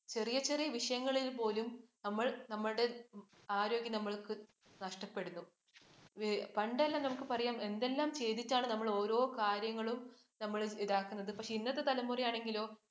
ചെറിയ ചെറിയ വിഷയങ്ങളിൽ പോലും നമ്മൾ നമ്മളുടെ ആരോഗ്യം നമുക്ക് നഷ്ടപ്പെടുന്നു. പണ്ടെല്ലാം നമുക്ക് പറയാം എന്തെല്ലാം ചെയ്തിട്ടാണ് നമ്മൾ ഓരോ കാര്യങ്ങളും നമ്മൾ ഇതാക്കുന്നത്. പക്ഷെ ഇന്നത്തെ തലമുറയാണെങ്കിലോ?